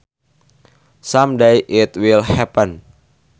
Some day it will happen